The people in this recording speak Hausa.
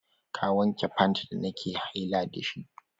Ka wanke fant da nake haila dashi!